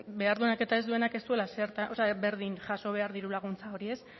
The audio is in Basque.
behar duenak eta behar ez duenak ez duela berdin jaso behar diru laguntza hori